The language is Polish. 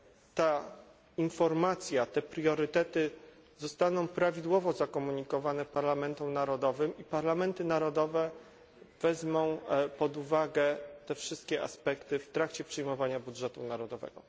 ta informacja, te priorytety zostaną prawidłowo zakomunikowane parlamentom narodowym, a parlamenty narodowe wezmą pod uwagę te wszystkie aspekty w trakcie przyjmowania budżetu narodowego.